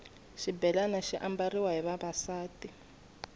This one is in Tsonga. xibhelani xi ambariwa hi vavasati